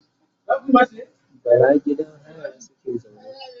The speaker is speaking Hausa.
bara gidan haya suke zaune